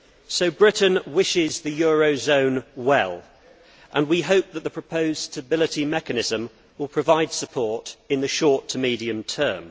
So Britain wishes the eurozone well and we hope that the proposed stability mechanism will provide support in the short to medium term.